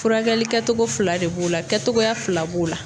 Furakɛli kɛtogo fila de b'o la kɛtogoya fila b'o la.